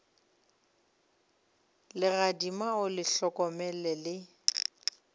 legadima o le hlokomele le